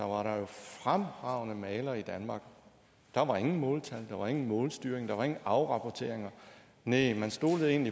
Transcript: var der fremragende malere i danmark og der var ingen måltal der var ingen målstyring der var ingen afrapporteringer nej man stolede